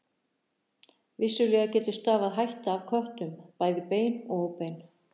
Vissulega getur stafað hætta af köttum, bæði bein og óbein.